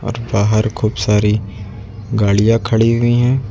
और बाहर खूब सारी गाड़ियां खड़ी हुई है।